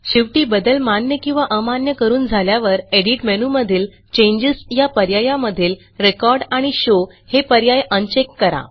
शेवटी बदल मान्य किंवा अमान्य करून झाल्यावर एडिट मेनूमधील चेंजेस या पर्यायामधील रेकॉर्ड आणि शो हे पर्याय अनचेक करा